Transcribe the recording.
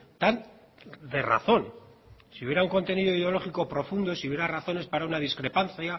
tan de razón si hubiera un contenido ideológico profundo si hubiera razones para una discrepancia